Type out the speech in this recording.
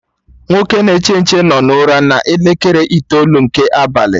Nwoke na-eche nche no na ụra na elekere itoolu nke abalị